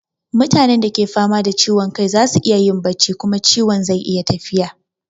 Mutanen da ke fama da ciwon kai za su iya yin bacci kuma ciwon zai iya tafiya.